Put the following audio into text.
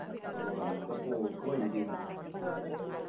ഊ അന്നത്തെ പോക്ക് vibe എയ്‌ന്.